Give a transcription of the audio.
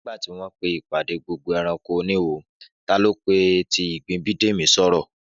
Nígbà tí wọ́n pé ìpàdé gbogbo ẹranko oníwo, ta ló pe ti ìgbín Bídèmí sọ́rọ̀?